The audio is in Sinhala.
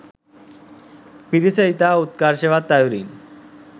පිරිස ඉතා උත්කර්ෂවත් අයුරින්